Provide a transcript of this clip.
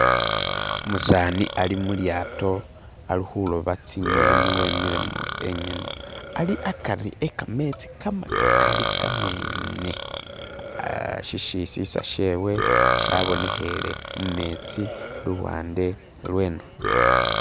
umusaani ali mulyato alihuloba tsinyeni wemile enyene ali akari wekametsi kamakali kamene shishisisa shewe shabonehele mumetsi luwande luno